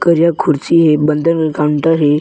करिआ कुर्सी हे बंगल में कॉउंटर हे।